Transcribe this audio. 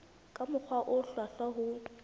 ka mokgwa o hlwahlwa ho